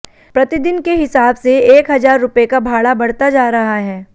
प्रतिदिन के हिसाब से एक हजार रुपए का भाड़ा बढ़ता जा रहा है